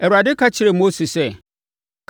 Awurade ka kyerɛɛ Mose sɛ,